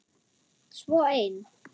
Svo ein.